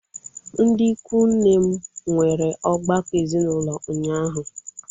Ndị ikwu nne m nwere ọgbakọ ezinaụlọ ụnyaahụ.